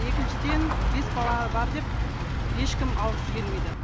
екіншіден бес бала бар деп ешкім алғысы келмейді